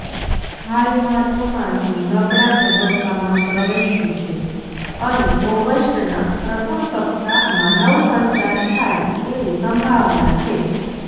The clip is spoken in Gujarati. હાલમાં ચોમાસુ નબળા તબક્કામાં પ્રવેશ્યું છે અને ઓગસ્ટના પ્રથમ સપ્તાહમાં નવસંચાર થાય તેવી સંભાવના છે